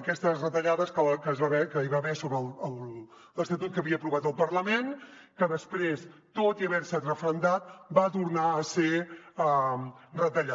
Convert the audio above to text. aquestes retallades que hi va haver sobre l’estatut que havia aprovat el parlament que després tot i haver se referendat va tornar a ser retallat